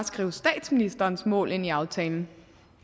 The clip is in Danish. skrive statsministerens mål ind i aftalen